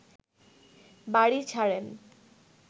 বাড়ি ছাড়েন